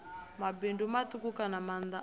mabindu matuku kana maanda a